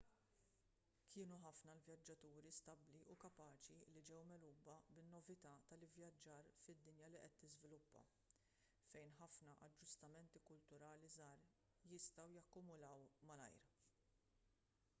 kienu ħafna l-vjaġġaturi stabbli u kapaċi li ġew megħluba bin-novità tal-ivvjaġġar fid-dinja li qed tiżviluppa fejn ħafna aġġustamenti kulturali żgħar jistgħu jakkumulaw malajr